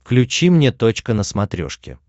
включи мне точка на смотрешке